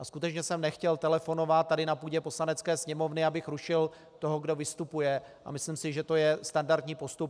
A skutečně jsem nechtěl telefonovat tady na půdě Poslanecké sněmovny, abych rušil toho, kdo vystupuje, a myslím si, že to je standardní postup.